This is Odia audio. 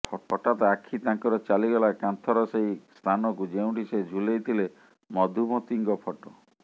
ହଠାତ୍ ଆଖିତାଙ୍କର ଚାଲିଗଲା କାନ୍ଥର ସେହି ସ୍ଥାନକୁ ଯେଉଁଠି ସେ ଝୁଲେଇ ଥିଲେ ମଧୁମତିଙ୍କ ଫଟୋ